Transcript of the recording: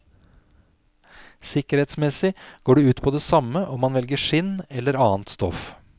Sikkerhetsmessig går det ut på det samme om man velger skinn eller annet stoff.